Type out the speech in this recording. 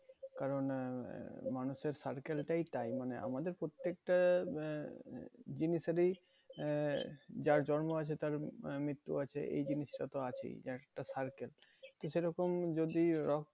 কারণ আহ মানুষের circle টাই তাই মানে আমাদের প্রত্যেকটা উম আহ জিনিসেরই আহ যার জন্ম আছে তার উম আহ মৃত্যু আছে এই জিনিসটা তো আছেই একটা circle তা সেরকম যদি রক্ত